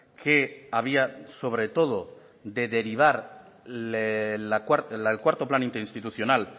que había sobre todo de derivar el cuarto plan interinstitucional